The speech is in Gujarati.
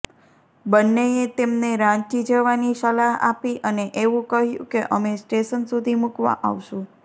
બન્નેએ તેમને રાંચી જવાની સલાહ આપી અને એવું કહ્યું કે અમે સ્ટેશન સુધી મૂકવા આવશું